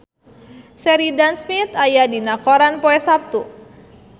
Sheridan Smith aya dina koran poe Saptu